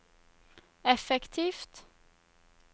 effektivt